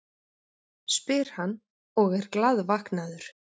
spyr hann og er glaðvaknaður.